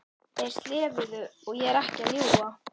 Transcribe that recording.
Þeir slefuðu, ég er ekki að ljúga!